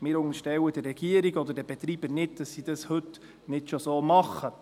Wir unterstellen der Regierung und den Betreibern nicht, dass sie dies heute nicht schon so tun.